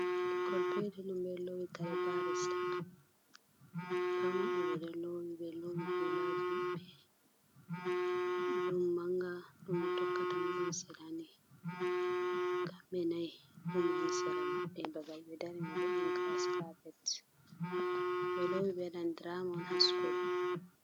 Ɓikkol peetel'on ɓeɗo loowi karee barista. ɓepatmabɓe ɓe loowi ɓeloomi hulaajimabɓe. Ɗon manga ɗon motokkatamo ɗon seranii. kamɓee nayi ɗon woni seramaɓɓe babal ɓe darimaibo ɗon giras kaapet. Belowi ɓe waaɗan diraama'on ha sukuul.